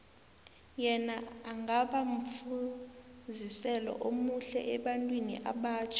yena angaba mfuziselo omuhle ebantwini abatjha